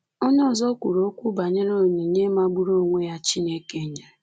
Onye ọzọ kwuru okwu banyere onyinye magburu onwe ya Chineke nyere.